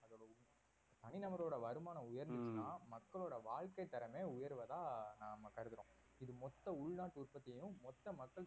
தனிநபரோட வருமானம் உயர்ந்துச்சுனா மக்களோட வாழ்க்கை தரமே உயர்வதா நாம கருதுறோம் இது மொத்த உள்நாட்டு உற்பத்தியையும் மொத்த மக்கள்